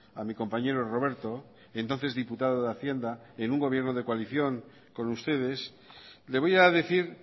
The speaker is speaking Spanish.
a mi compañero roberto entonces diputado de hacienda en un gobierno de coalición con ustedes le voy a decir